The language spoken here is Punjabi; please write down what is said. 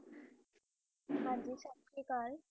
ਹਨ ਜੀ ਸਾਸਰੀਕਾਲ